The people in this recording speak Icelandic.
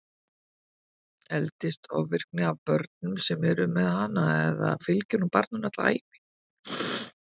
Eldist ofvirkni af börnum sem eru með hana eða fylgir hún barninu alla ævi?